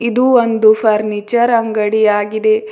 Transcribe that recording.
ಇದು ಒಂದು ಫರ್ನಿಚರ್ ಅಂಗಡಿ ಆಗಿದೆ.